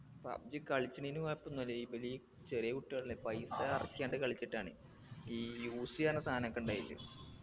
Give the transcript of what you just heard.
pubg കളിച്ച്നെന് കൊയപ്പൊന്നുല്ല ഇബെലീ ചെറിയകുട്ടികളല്ലേ പൈസ എറക്കി ങ്ങട്ട് കളിച്ചിട്ടാണെ ഈ use ചെയ്യാന് സാനൊക്കെ ഉണ്ടായില്ലേ